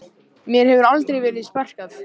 Mér hefur aldrei verið sparkað